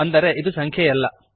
ಅಂದರೆ ಇದು ಸಂಖ್ಯೆಯಲ್ಲ